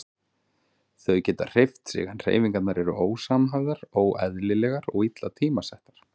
Þau geta hreyft sig en hreyfingarnar eru ósamhæfðar, óeðlilegar og illa tímasettar.